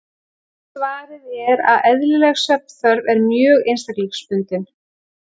Svarið er að eðlileg svefnþörf er mjög einstaklingsbundin.